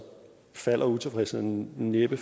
falder utilfredsheden næppe